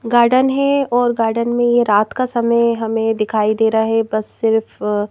garden है और garden में यह रात का समय हमें दिखाई दे रहा है बस सिर्फ--